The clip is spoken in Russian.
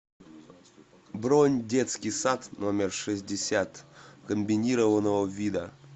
бронь детский сад номер шестьдесят комбинированного вида